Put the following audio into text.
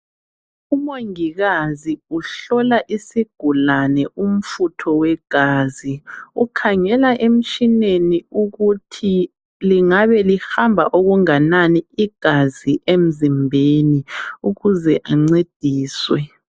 Umongikazi uhlola isigulane umfutho wegazi. Ukhangela emtshineni ukuthi lingabe lihamba okunganani igazi emzimbeni ukuze ancediswe.